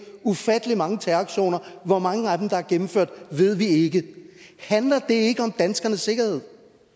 ufattelig mange terroraktioner hvor mange af dem der er gennemført ved vi ikke handler det ikke om danskernes sikkerhed